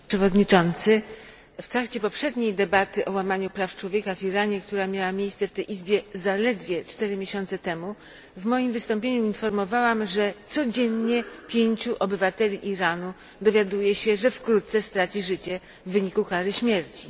Panie Przewodniczący! W trakcie poprzedniej debaty o łamaniu praw człowieka w Iranie, która miała miejsce w tej izbie zaledwie cztery miesiące temu, w moim wystąpieniu informowałam, że codziennie pięciu obywateli Iranu dowiaduje się, że wkrótce straci życie w wyniku kary śmierci.